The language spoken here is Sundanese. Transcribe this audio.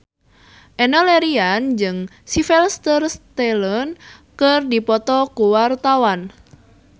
Enno Lerian jeung Sylvester Stallone keur dipoto ku wartawan